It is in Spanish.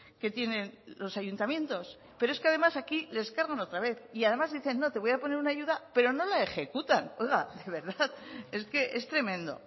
que tienen los ayuntamientos pero es que además aquí les cargan otra vez y además dicen no te voy a poner una ayuda pero no la ejecutan oiga de verdad es que es tremendo